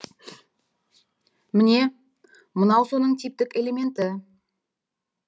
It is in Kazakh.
міне мынау соның типтік элементі